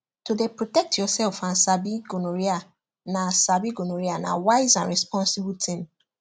to dey protect yourself and sabi gonorrhea na sabi gonorrhea na wise and responsible thing